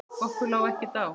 Okkur lá ekkert á.